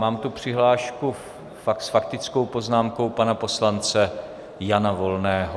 Mám tu přihlášku s faktickou poznámkou pana poslance Jana Volného.